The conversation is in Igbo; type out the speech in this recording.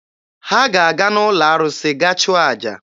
Ha ga-aga n'ụlọ arụsị gaa chụọ aja.